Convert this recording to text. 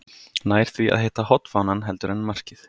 Nær því að hitta hornfánann heldur en markið.